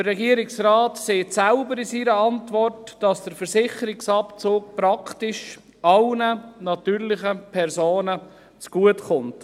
Der Regierungsrat sagt selbst in seiner Antwort, dass der Versicherungsabzug praktisch allen natürlichen Personen zugutekommt.